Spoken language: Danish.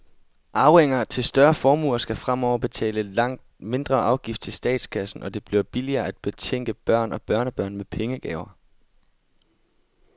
Arvinger til større formuer skal fremover betale en langt mindre afgift til statskassen, og det bliver billigere at betænke børn og børnebørn med pengegaver.